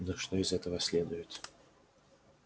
ну что из этого следует